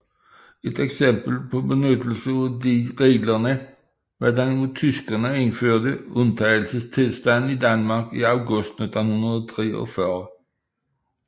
Et eksempel på benyttelse af disse regler var den af tyskerne indførte undtagelsestilstand i Danmark i august 1943